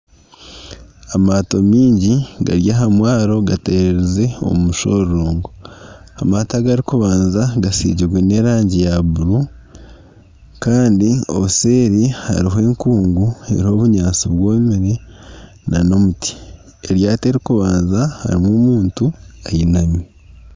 Amaato mingi gari aha mwaro gatererize omu mushororongo. Amaato agarikubaanza gasigirwe n'erangi ya buru kandi obuseeri hariho enkungu eriho obunyaatsi bwomire n'omuti. Eryato eririkubaanza harimu omuntu ayinami.